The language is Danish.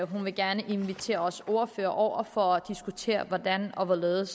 hun gerne vil invitere os ordførere over for at diskutere hvordan og hvorledes